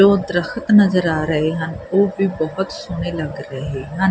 ਤੇ ਉਹ ਦ੍ਰਖਤ ਨਜ਼ਰ ਆ ਰਹੇ ਹਨ ਓਹ ਵੀ ਬੋਹੁਤ ਸੋਹਣੇ ਲੱਗ ਰਹੇ ਹਨ।